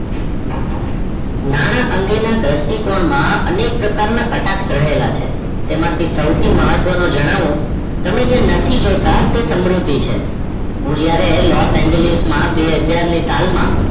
નાણાંઅંગેના દ્રષ્ટિકોણમાં અનેક પ્રકારનાં કટાક્ષ રહેલાછે તેમાંથી સૌથીવધુ મહત્વ નો જાણવ તમે નથી જોતાં તે સમૃદ્ધિ છે હું જ્યારે લો એન જે લિસ્ટ માં બે હજાર ની સાલ માં